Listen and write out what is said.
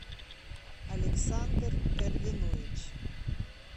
александр эрвинович